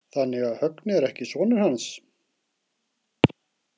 Þannig að Högni er ekki sonur hans?